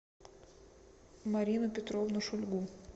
марину петровну шульгу